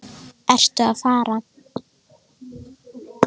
Ertu að fara?